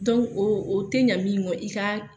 oo o tɛ ɲa min ŋɔ i ka